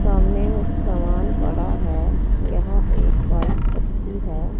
सामने उस सामान पड़ा है यहां एक पाइप रखी है।